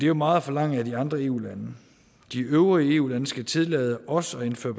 jo meget at forlange af de andre eu lande de øvrige eu lande skal tillade os at indføre